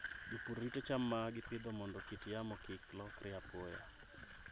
Jopur rito cham ma gipidho mondo kit yamo kik lokre apoya.